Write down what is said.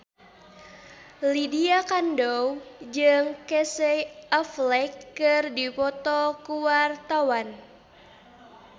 Lydia Kandou jeung Casey Affleck keur dipoto ku wartawan